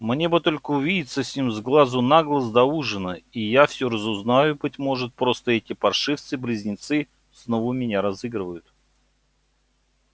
мне бы только увидеться с ним с глазу на глаз до ужина и я всё разузнаю быть может просто эти паршивцы-близнецы снова меня разыгрывают